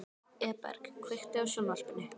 Eberg, kveiktu á sjónvarpinu.